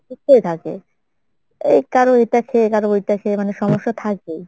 অসুস্থই থাকে এই কারো এইটা খেয়ে কারো ওইটা খেয়ে মানে সমস্যা থাকেই।